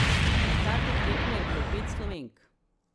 Na startu tekme je bilo pet Slovenk.